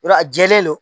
Yɔrɔ a jɛlen no